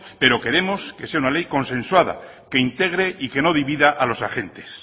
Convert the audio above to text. pero queremos que sea una ley consensuada que integre y que no divida a los agentes